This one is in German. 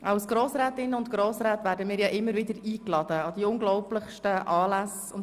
Als Grossrätinnen und Grossräte werden wir immer wieder an die unglaublichsten Anlässe eingeladen.